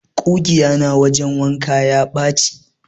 ƙugiya na wajen wanka ya ɓache.